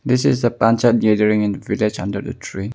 This is the in the village under the tree.